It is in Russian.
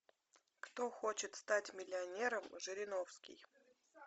кто хочет стать миллионером жириновский